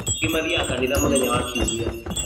Angĩ mathiaga kanitha mũthenya wa kiumia